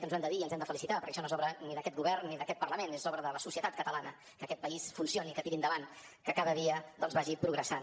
ens ho hem de dir i ens n’hem de felicitar perquè això no és obra ni d’aquest govern ni d’aquest parlament és obra de la societat catalana que aquest país funcioni que tiri endavant que cada dia doncs vagi progressant